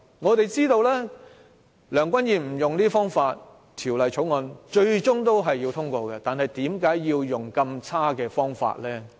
我們都知道即使梁君彥不使用這些方法，《條例草案》最終也會獲得通過，那為何要用上這麼差勁的方法？